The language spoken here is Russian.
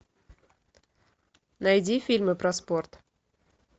найди фильмы про спорт